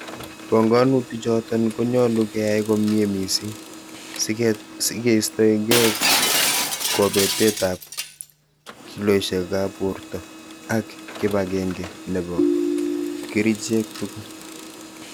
Pongonutichoton konyolu keyai komie missing, sikeistoenge kobetet ab kiloisiekab borta ak kibag'eng'e nebo ng'echirek tugul.